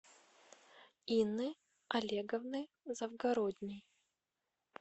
инны олеговны завгородней